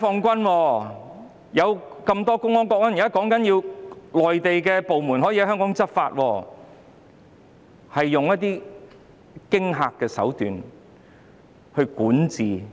根據目前的建議，內地部門可以在香港執法，這等同用驚嚇手段治港。